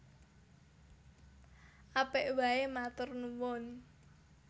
Apik waé matur nuwun